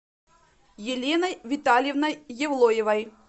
еленой витальевной евлоевой